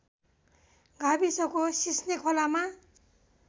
गाविसको सिस्ने खोलामा